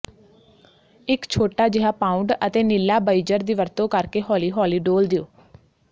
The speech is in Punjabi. ਇੱਕ ਛੋਟਾ ਜਿਹਾ ਪਾਊਂਡ ਅਤੇ ਨੀਲਾਬਇਜ਼ਰ ਦੀ ਵਰਤੋਂ ਕਰਕੇ ਹੌਲੀ ਹੌਲੀ ਡੋਲ੍ਹ ਦਿਓ